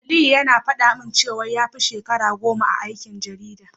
Aliyu yana faɗa min cewa ya fi shekara goma a aikin jarida.